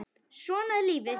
Svona er lífið.